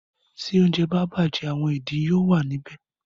Tí oúnjẹ bá bàjẹ́ “ àwọn ìdin” yóò wà níbẹ̀.